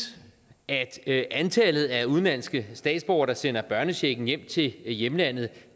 at at antallet af udenlandske statsborgere der sender børnechecken hjem til hjemlandet